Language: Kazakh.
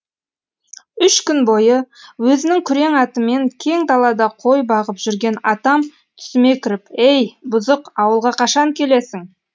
үш күн бойы өзінің күрең атымен кең далада қой бағып жүрген атам түсіме кіріп ей бұзық ауылға қашан келесің